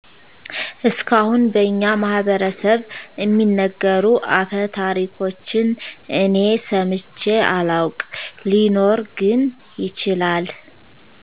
እስካሁን በኛ ማህበረስብ እሚነገሩ አፈታሪኮችን እኔ ሰምቼ አላውቅ ሊኖር ግን ይችላል